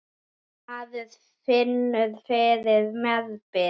Maður finnur fyrir meðbyr.